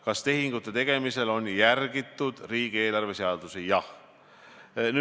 Kas tehingute tegemisel on järgitud riigieelarve seadusi?